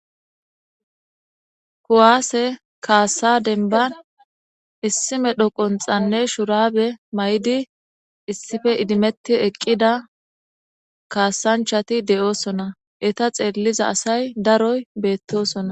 Kuwaase kaasa demban issi medho qunxanne shuraabe mayidi issipe iddimethidi eqida kasanchathi de'oosona eetha xeeliza asay daroy beethoosona.